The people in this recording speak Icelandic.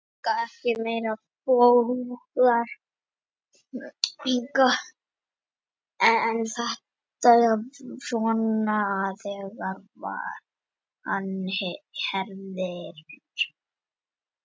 Menn eru ekki meiri bógar en þetta, svona þegar á herðir.